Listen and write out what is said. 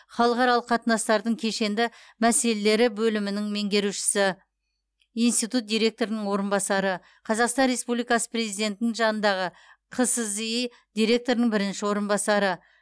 халықаралық қатынастардың кешенді мәселелері бөлімінің меңгерушісі институт директорының орынбасары қазақстан республикасы президентінің жанындағы қсзи директорының бірінші орынбасары